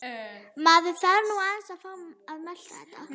Maður þarf nú aðeins að fá að melta þetta.